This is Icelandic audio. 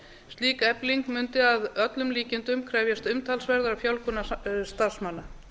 slík efling mundi að öllum líkindum krefjast umtalsverðrar fjölgunar starfsmanna